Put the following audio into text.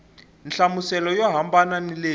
nhlamuselo yo hambana ni leyi